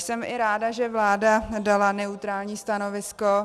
Jsem i ráda, že vláda dala neutrální stanovisko.